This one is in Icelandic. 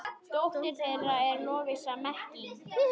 Dóttir þeirra er Lovísa Mekkín.